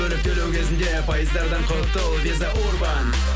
бөліп төлеу кезінде пайыздардан құтыл виза урбан